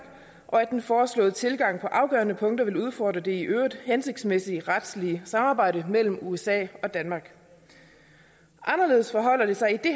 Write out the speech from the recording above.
og at den foreslåede tilgang på afgørende punkter ville udfordre det i øvrigt hensigtsmæssige retslige samarbejde mellem usa og danmark anderledes forholder det sig i